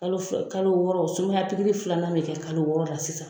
Kalo fila kalo wɔɔrɔ sumaya pikiri filanan bɛ kɛ kalo wɔɔrɔ la sisan.